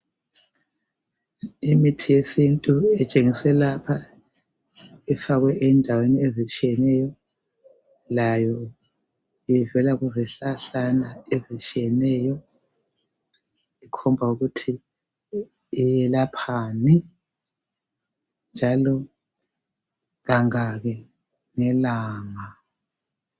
Imithi yesintu etshengiswe lapha ifakwe endaweni ezitshiyeneyo layo ivela kuzihlahlana ezitshiyeneyo ikhomba ukuthi iyelaphani njalo kangaki ngelanga.